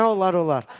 Nə olar, olar.